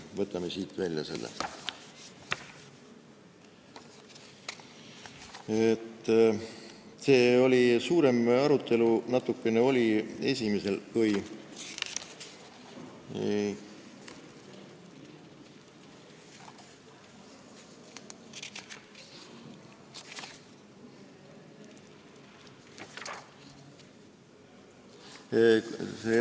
Võtame siit välja selle.